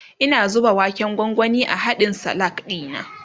Ina zuba waken gwangwani a hadkn Salak dina